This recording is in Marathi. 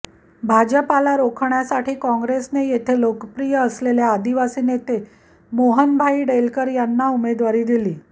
भाजपला रोखण्यासाठी कॉँग्रेसने येथे लोकप्रिय असलेल्या आदिवासी नेते मोहनभाई डेलकर यांना उमेदवारी दिली